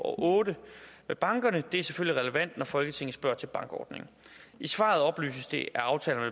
og otte med bankerne og det er selvfølgelig relevant når folketinget spørger til bankordningen i svaret oplyses det at aftalerne